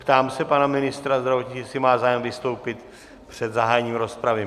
Ptám se pana ministra zdravotnictví, jestli má zájem vystoupit před zahájením rozpravy?